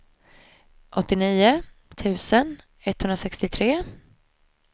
åttionio tusen etthundrasextiotre